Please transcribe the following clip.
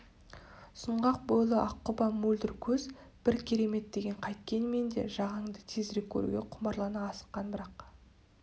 сұңғақ бойлы аққұба мөлдір көз бір керемет деген қайткенмен де жағанды тезірек көруге құмарлана асыққан бірақ